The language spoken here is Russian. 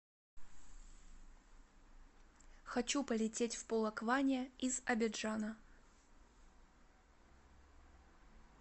хочу полететь в полокване из абиджана